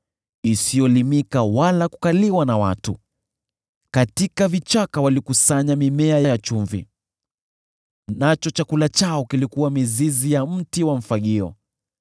Katika vichaka walikusanya mimea ya chumvi, nacho chakula chao kilikuwa mizizi ya mti wa mfagio.